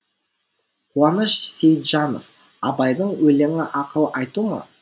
қуаныш сейітжанов абайдың өлеңі ақыл айту ма